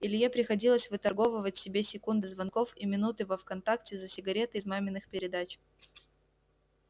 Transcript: илье приходилось выторговывать себе секунды звонков и минуты во вконтакте за сигареты из маминых передач